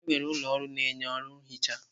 Enwere ụlọ ọrụ na-enye ọrụ nhicha.